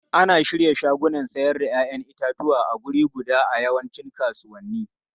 Ana shirya shagunan sayar da 'ya'yan itatuwa a wuri guda a yawancin kasuwanni.